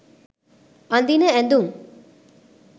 අඳින ඇඳුම්